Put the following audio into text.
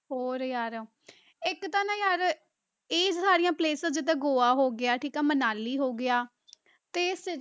ਹੋਰ ਯਾਰ ਇੱਕ ਤਾਂ ਨਾ ਯਾਰ ਇਹ ਸਾਰੀਆਂ places ਜਿੱਦਾਂ ਗੋਆ ਹੋ ਗਿਆ, ਠੀਕ ਆ ਮਨਾਲੀ ਹੋ ਗਿਆ ਤੇ ਫਿਰ